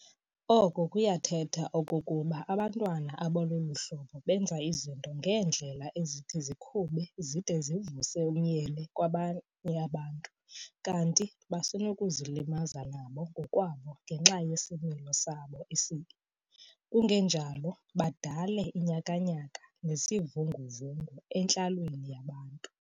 Oko kuyathetha okokuba abantwana abalolu hlobo benza izinto ngeendlela ezithi zikhube zide zivuse umnyele kwabanye abantu kanti basenokuzilimaza nabo ngokwabo ngenxa yesimilo sabo esibi, kungenjalo badale inyakanyaka nezivungu-vungu entlalweni yabantu.